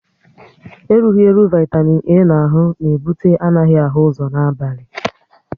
Erughi eru Vaitamin A na ahụ na ebute anaghị ahụ ụzọ n'abali